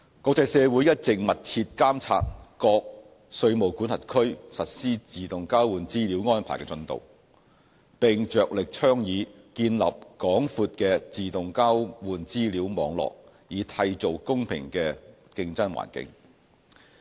國際社會一直密切監察各稅務管轄區實施自動交換資料安排的進度，並着力倡議建立廣闊的自動交換資料網絡，以締造公平的競爭環境。